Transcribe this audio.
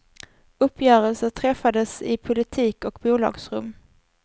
Uppgörelser träffades i politik och bolagsrum.